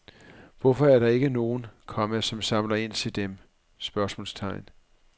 Hvorfor er der ikke nogen, komma som samler ind til dem? spørgsmålstegn